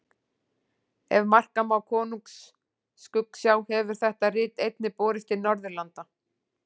Ef marka má Konungs skuggsjá hefur þetta rit einnig borist til Norðurlanda.